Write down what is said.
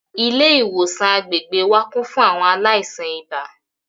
Ilé ìwòsàn agbègbè wa kún fún àwọn aláìsàn ibà